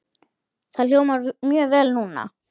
Það hljómar mjög vel núna.